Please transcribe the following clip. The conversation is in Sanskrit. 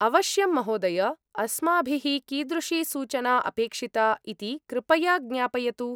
अवश्यं, महोदय! अस्माभिः कीदृशी सूचना अपेक्षिता इति कृपया ज्ञापयतु।